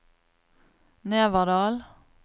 Neverdal